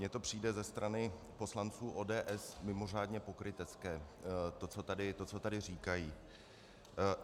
Mně to přijde ze strany poslanců ODS mimořádně pokrytecké, to, co tady říkají.